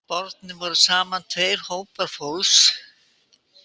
Bornir voru saman tveir hópar fólks